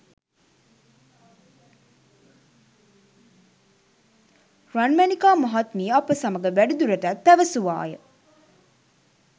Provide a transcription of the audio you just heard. රන්මැණිකා මහත්මිය අප සමග වැඩිදුරටත් පැවසුවාය